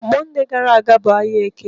Mọnde gara aga ọ bụ ahịa Eke?